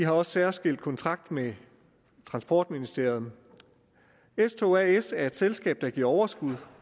også særskilt kontrakt med transportministeriet s tog as er et selskab der giver overskud